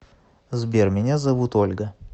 сбер меня зовут ольга